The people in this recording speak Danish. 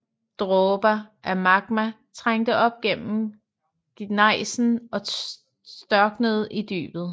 Dråber af magma trængte op gennem gnejsen og størknede i dybet